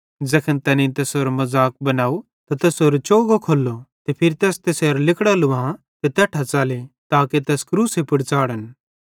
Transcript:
ज़ैखन तैनेईं तैसेरो मज़ाक बनाव त तैसेरो चोगो खोल्लो ते फिरी तैस तैसेरां लिगड़ां लुवां ते तैट्ठां च़ले ताके तैस क्रूसे पुड़ च़ाढ़न